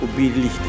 Bu birlikdir.